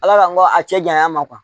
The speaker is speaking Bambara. Ala la n ko a cɛ janya ma